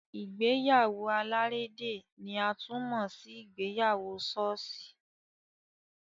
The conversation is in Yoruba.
Ìgbéyàwó alárédè ni a tún mọ sí ìgbéyàwó ṣọ́ọ̀ṣì.